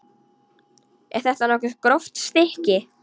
Er þetta nokkuð gróft stykki?